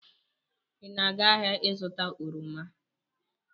Ị na-aga ahịa ịzụta oroma?